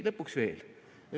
Lõpuks veel.